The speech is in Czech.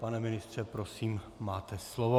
Pane ministře, prosím, máte slovo.